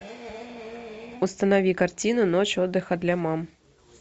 установи картину ночь отдыха для мам